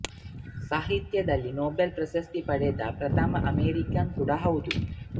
ಸಾಹಿತ್ಯದಲ್ಲಿ ನೋಬೆಲ್ ಪ್ರಶಸ್ತಿ ಪಡೆದ ಪ್ರಥಮ ಅಮೆರಿಕನ್ ಕೂಡಾ ಹೌದು